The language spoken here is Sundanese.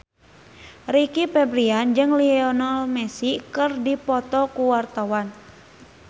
Rizky Febian jeung Lionel Messi keur dipoto ku wartawan